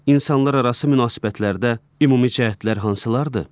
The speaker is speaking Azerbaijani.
İnsanlararası münasibətlərdə ümumi cəhətlər hansılardır?